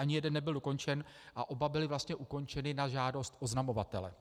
Ani jeden nebyl dokončen a oba byly vlastně ukončeny na žádost oznamovatele.